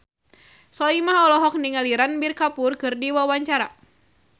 Soimah olohok ningali Ranbir Kapoor keur diwawancara